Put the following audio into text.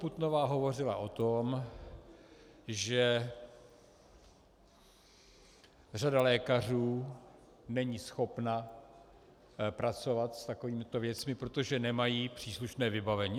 Putnová hovořila o tom, že řada lékařů není schopna pracovat s takovýmito věcmi, protože nemají příslušné vybavení.